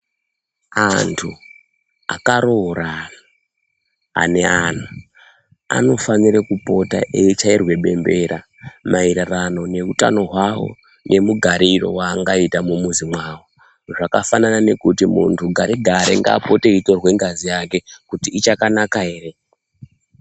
Antu akaroorana ane ana anofana kupota eyichairwa bembera mayererano neutano hwavo nemugariro wavangaita mumwuzi mwavo zvakafanana nekuti muntu gare gare ngapote eyitorwa ngazi yake kuti ichakanaka ere.